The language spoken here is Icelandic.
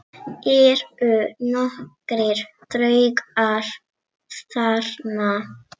Eru nokkrir draugar þarna?